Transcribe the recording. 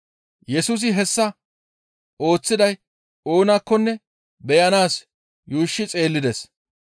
Yesusi hessa ooththiday oonakkonne beyanaas yuushshi xeellides.